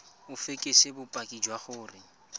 o fekese bopaki jwa gore